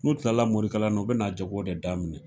N'u kilanan morikalan u bina jago de daminɛ